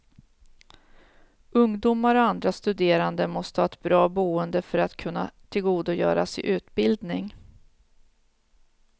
Ungdomar och andra studerande måste ha ett bra boende för att kunna tillgodogöra sig utbildning.